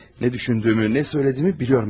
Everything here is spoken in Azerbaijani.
Nə düşündüyümü, nə söylədiyimi bilirəm mən artıq.